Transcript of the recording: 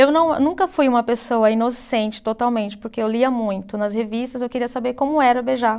Eu não, nunca fui uma pessoa inocente totalmente, porque eu lia muito nas revistas e eu queria saber como era beijar.